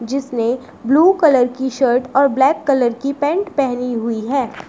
जिसने blue colour की shirt और ब्लैक कलर की पैंट पेहनी हुई है।